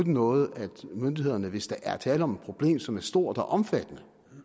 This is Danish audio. noget at myndighederne hvis der er tale om et problem som er stort og omfattende